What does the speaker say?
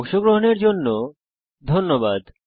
অংশগ্রহনের জন্য ধন্যবাদ